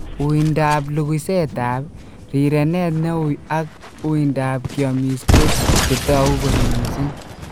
Uindap luguisetap, rirenet neui ak uindap kiomis ko chetogu kot missing.